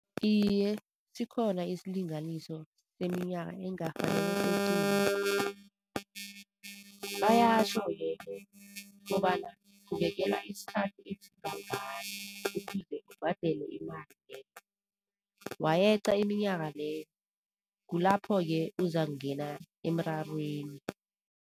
Iye, sikhona isilinganiso seminyaka engakghoni bayatjho-ke kobana ubekelwa iskhathi esingangani ukuze ubhadele imali leyo. Wayeqa iminyaka leyo kulapho-ke uzakungena emrarweni.